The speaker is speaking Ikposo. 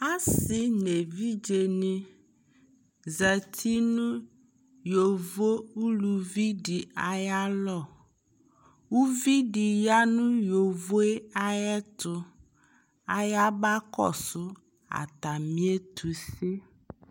asii nʋ ɛvidzɛ ni zati nʋ yɔvɔ ʋlʋvi di ayi alɔ, ʋvidi yanʋ yɔvɔɛ ayɛtʋ, aya bakɔsʋ atami ɛtʋsɛ